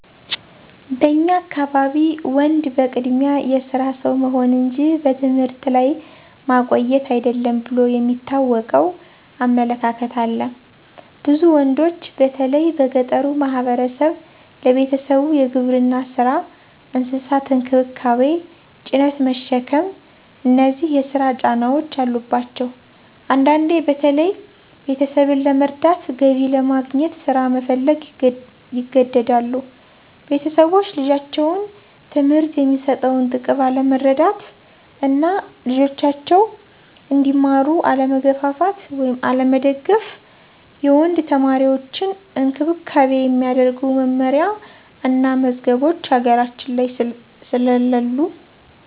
በኛ አካባቢ ወንድ በቅድሚያ የስራ ሰው መሆን እንጂ በትምህርት ላይ ማቆየት አይደለም ብሎ የሚታወቀው አመለካከት አለ። ብዙ ወንዶች በተለይ በገጠሩ ማህበረሰብ ለቤተሰቡ የግብርና ስራ፣ እንስሳት እንክብካቤ፣ ጭነት መሸከም እነዚህ የስራ ጫናዎች አሉባቸዉ። አንዳንዴ በተለይ ቤተሰብን ለመርዳት፣ ገቢ ለማግኘት ስራ መፈለግ ይገደዳሉ። ቤተሰቦች ለልጆች ትምህርት የሚሰጠውን ጥቅም አለመረዳት እና ልጆጃቸዉ እንዲማሩ አለመገፋፋት/አለመደገፍ። የወንድ ተማሪዎችን እንክብካቤ የሚያደርጉ መመሪያ እና መዝገቦች ሀገራችን ላይ ስለለሉ።